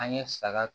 An ye saga